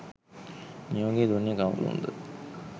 නියෝගය දුන්නේ කවුරුන්ද?